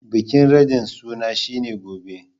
Bikin radin suna shi ne Gobe.